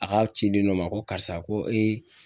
A ka ciden dɔ ma ,ko karisa ko